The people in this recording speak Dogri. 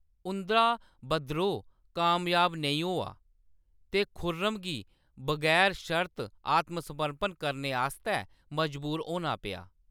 उंʼदा बद्रोह कामयाब नेईं होआ ते खुर्रम गी बगैर शर्त आत्मसमर्पण करने आस्तै मजबूर होना पेआ।